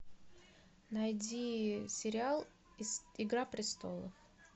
найди сериал игра престолов